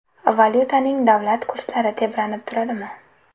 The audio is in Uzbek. Valyutaning davlat kurslari tebranib turadimi?